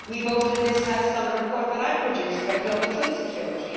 We voted in this House on a report that I produced about global food security.